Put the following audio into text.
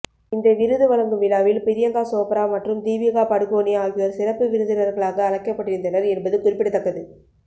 இந்த விருது வழங்கும் விழாவில் பிரியங்கா சோப்ரா மற்றும் தீபிகா படுகோனே ஆகியோர் சிறப்பு விருந்தினர்களாக அழைக்கப்பட்டிருந்தனர் என்பது குறிப்பிடத்தக்கது